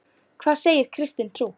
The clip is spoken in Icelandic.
Hvað segir kristin trú?